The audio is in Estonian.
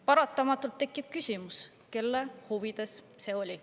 Paratamatult tekib küsimus, kelle huvides see oli.